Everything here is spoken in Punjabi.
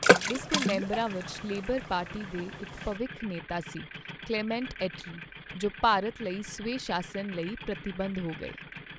ਇਸ ਦੇ ਮੈਂਬਰਾਂ ਵਿੱਚ ਲੇਬਰ ਪਾਰਟੀ ਦੇ ਇੱਕ ਭਵਿੱਖ ਨੇਤਾ ਸੀ "ਕਲੇਮੈਂਟ ਐਟਲੀ" ਜੋ ਭਾਰਤ ਲਈ ਸਵੈ ਸ਼ਾਸਨ ਲਈ ਪ੍ਰਤੀਬੱਧ ਹੋ ਗਏ ।